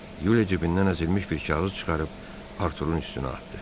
Yuliya cibindən əzilmiş bir kağız çıxarıb Artur'un üstünə atdı.